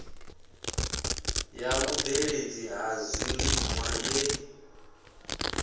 ya vhubveledzi ha zwiliṅwa ye